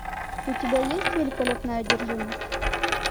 у тебя есть великолепная одержимость